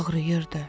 Ağrıyırdı.